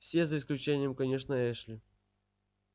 все за исключением конечно эшли